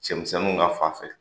Cɛmisɛnnu ka fan fɛ